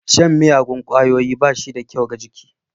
Shan miyagun ƙwayoyi bashida kyau ga jiki.